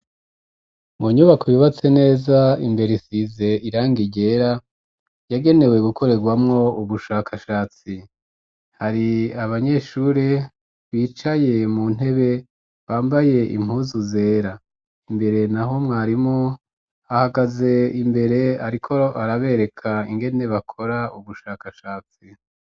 Mu nyubako yubatse neza, imbere isize irangi ryera, yagenewe gukorerwamwo ubushakashatsi, hari abanyeshuri bicaye mu ntebe, bambaye impuzu zera, imbere naho mwarimu ahagaze imbere, ariko arabereka ingene bakora ubushakashatsi.